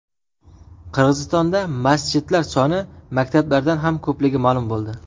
Qirg‘izistonda masjidlar soni maktablardan ham ko‘pligi ma’lum bo‘ldi.